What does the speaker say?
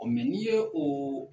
n'i ye o